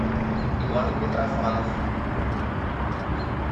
иван митрофанов